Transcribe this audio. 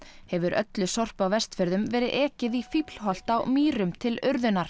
hefur öllu sorpi á Vestfjörðum verið ekið í Fíflholt á Mýrum til urðunar